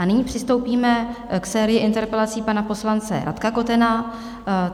A nyní přistoupíme k sérii interpelací pana poslance Radka Kotena.